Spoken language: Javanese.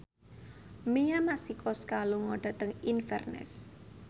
Mia Masikowska lunga dhateng Inverness